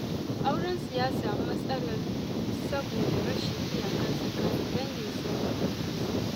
Aurensu ya samu matsala saboda rashin iyaka tsakanin danginsa da matarsa.